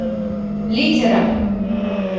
литера